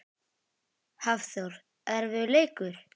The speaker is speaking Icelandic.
Hafþór: Erfiður leikur?